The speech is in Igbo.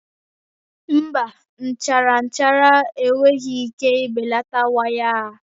Mba, nchara nchara enweghị ike ibelata waya a